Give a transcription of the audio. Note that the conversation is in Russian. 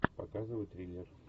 показывай триллер